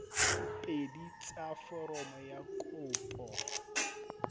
pedi tsa foromo ya kopo